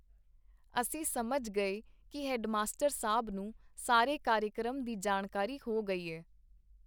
ਅਸੀਂ ਸਮਜ ਗਏ ਕੀ ਹੈਡਮਾਸਟਰ ਸਾਬ ਨੂੰ ਸਾਰੇ ਕਾਰਿਕਰਮ ਦੀ ਜਾਣਕਾਰੀ ਹੋ ਗਈ ਏ.